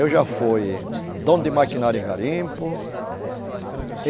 Eu já fui dono de maquinário em garimpo.